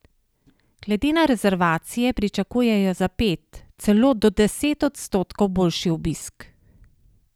Glede na rezervacije pričakujejo za pet, celo do deset odstotkov boljši obisk.